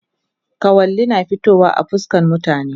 Kawali na fitowa a fuskan mutane